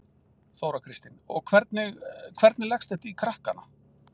Þóra Kristín: Og hvernig, hvernig leggst þetta í krakkana?